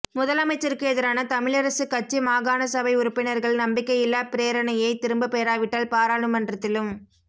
முதலமைச்சருக்கு எதிரான தமிழரசுக் கட்சி மாகாணசபை உறுப்பினர்கள் நம்பிக்கையில்லா பிரேரணையை திரும்பப் பெறாவிட்டால் பாராளுமன்றத்திலும்